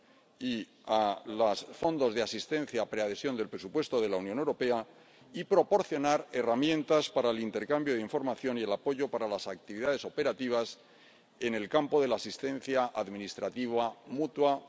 y a los fondos de asistencia a la preadhesión del presupuesto de la Unión Europea, y proporcionar herramientas para el intercambio de información y el apoyo a las actividades operativas en el campo de la asistencia administrativa mutua.